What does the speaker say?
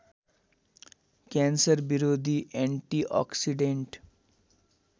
cancer विरोधी antioxidant